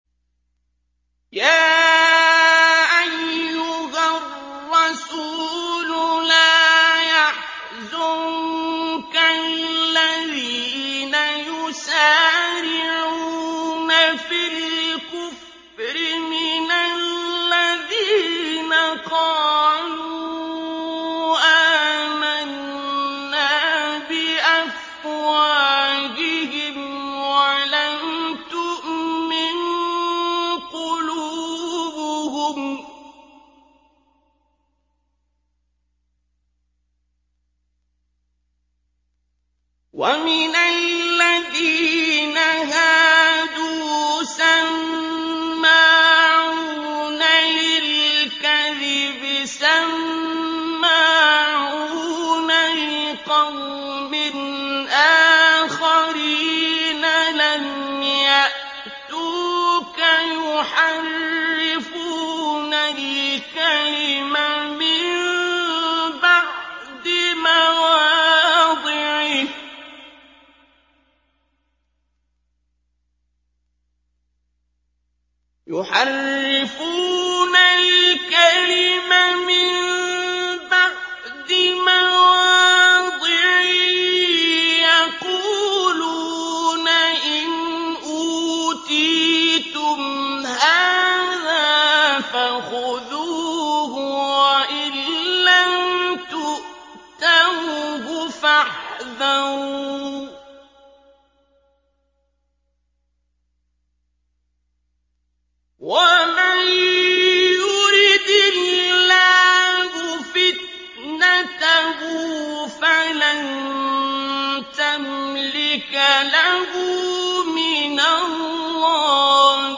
۞ يَا أَيُّهَا الرَّسُولُ لَا يَحْزُنكَ الَّذِينَ يُسَارِعُونَ فِي الْكُفْرِ مِنَ الَّذِينَ قَالُوا آمَنَّا بِأَفْوَاهِهِمْ وَلَمْ تُؤْمِن قُلُوبُهُمْ ۛ وَمِنَ الَّذِينَ هَادُوا ۛ سَمَّاعُونَ لِلْكَذِبِ سَمَّاعُونَ لِقَوْمٍ آخَرِينَ لَمْ يَأْتُوكَ ۖ يُحَرِّفُونَ الْكَلِمَ مِن بَعْدِ مَوَاضِعِهِ ۖ يَقُولُونَ إِنْ أُوتِيتُمْ هَٰذَا فَخُذُوهُ وَإِن لَّمْ تُؤْتَوْهُ فَاحْذَرُوا ۚ وَمَن يُرِدِ اللَّهُ فِتْنَتَهُ فَلَن تَمْلِكَ لَهُ مِنَ اللَّهِ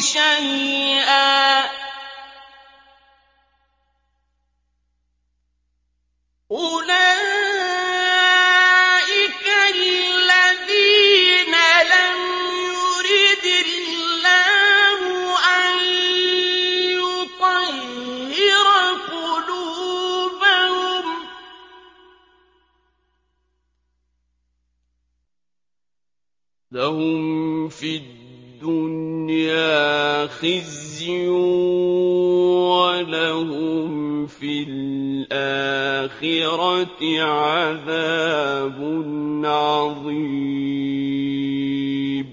شَيْئًا ۚ أُولَٰئِكَ الَّذِينَ لَمْ يُرِدِ اللَّهُ أَن يُطَهِّرَ قُلُوبَهُمْ ۚ لَهُمْ فِي الدُّنْيَا خِزْيٌ ۖ وَلَهُمْ فِي الْآخِرَةِ عَذَابٌ عَظِيمٌ